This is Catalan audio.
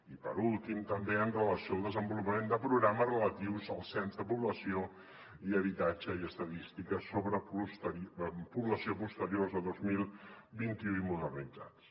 i per últim també amb relació al desenvolupament de programes relatius al cens de població i habitatge i estadístiques sobre població posteriors a dos mil vint u i modernitzats